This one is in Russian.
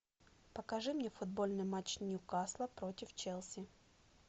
покажи мне футбольный матч ньюкасла против челси